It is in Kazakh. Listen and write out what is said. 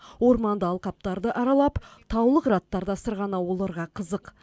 орманды алқаптарды аралап таулы қыраттарда сырғанау оларға қызық